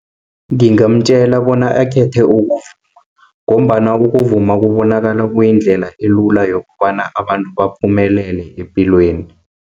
Ngingamtjela bona akhethe ukuvuma, ngombana ukuvuma kubonakala kuyindlela elula, yokobana abantu baphumelele epilweni.